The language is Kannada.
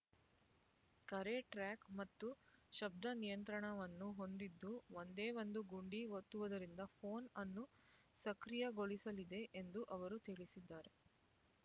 ಕರೆ ಟ್ರ್ಯಾಕ್ ಮತ್ತು ಶಬ್ದ ನಿಯಂತ್ರಣವನ್ನು ಹೊಂದಿದ್ದು ಒಂದೇ ಒಂದು ಗುಂಡಿ ಒತ್ತುವುದರಿಂದ ಪೋನ್ ಅನ್ನು ಸಕ್ರಿಯಗೊಳಿಸಲಿದೆ ಎಂದು ಅವರು ತಿಳಿಸಿದರು